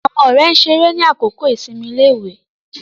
Àwọn ọ̀rẹ́ ṣeré ni àkókò ìsinmi iléèwé